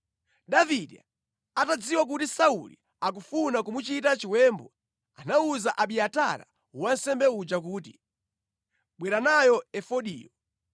Davide atadziwa kuti Sauli akufuna kumuchita chiwembu, anawuza Abiatara wansembe uja kuti, “Bwera nayo efodiyo.”